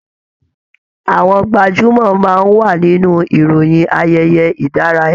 Àwọn gbajúmọ̀ máa n wa nínú ìròyìn ayẹyẹ ìdárayá.